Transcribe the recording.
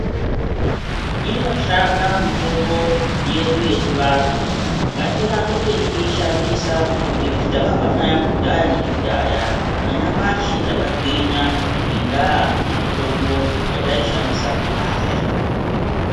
Inoshanda mitombo yedu yechivanhu ngatirambe teishandisa ngekuti takabva nayo kudhaya nekudhaya nanyamashi takagwinya ngendaa yemitombo yataishandisa kudhaya.